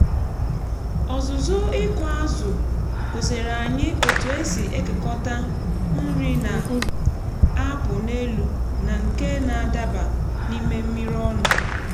ọzụzụ ịkụ azụ gosiere anyị otu esi ekekọta nri na-apụ n’elu na nke na-adaba n’ime mmiri ọnụ